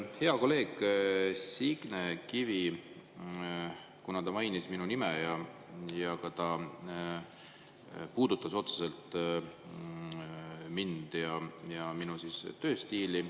Kuna hea kolleeg Signe Kivi mainis minu nime ja ta puudutas ka otseselt mind ja minu tööstiili …